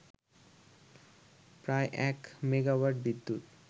প্রায় এক মেগাওয়াট বিদ্যুৎ